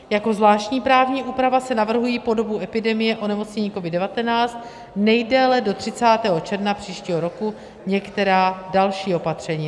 Jako zvláštní právní úprava se navrhují po dobu epidemie onemocnění COVID-19 nejdéle do 30. června příštího roku některá další opatření.